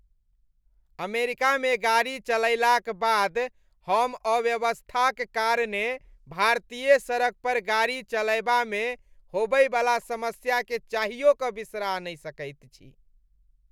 अमेरिकामे गाड़ी चलयलाक बाद हम अव्यवस्थाक कारणे भारतीय सड़क पर गाड़ी चलयबामे होबयवला समस्याकेँ चाहियो कऽ बिसरा नहि सकैत छी।